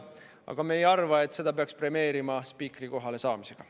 Aga me ei arva, et seda peaks premeerima spiikri kohale saamisega.